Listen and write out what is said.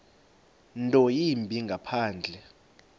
nto yimbi ngaphandle